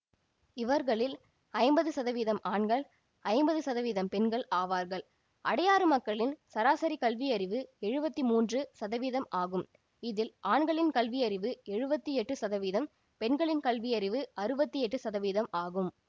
இவர்களில் ஐம்பது சதவீதம் ஆண்கள் ஐம்பது சதவீதம் பெண்கள் ஆவார்கள் அடையாறு மக்களின் சராசரி கல்வியறிவு எழுவத்தி மூன்று சதவீதம் ஆகும் இதில் ஆண்களின் கல்வியறிவு எழுவத்தி எட்டு சதவீதம் பெண்களின் கல்வியறிவு அறுபத்தி எட்டு சதவீதம் ஆகும்